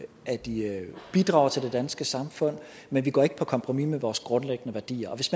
bidrager til det danske samfund men vi går ikke på kompromis med vores grundlæggende værdier og hvis